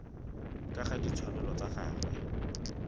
ka ga ditshwanelo tsa gagwe